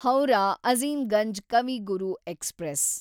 Howrah Azimganj Kavi Guru express